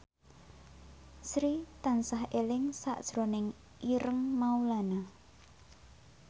Sri tansah eling sakjroning Ireng Maulana